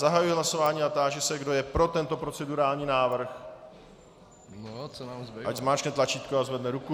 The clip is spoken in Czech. Zahajuji hlasování a táži se, kdo je pro tento procedurální návrh, ať zmáčkne tlačítko a zvedne ruku.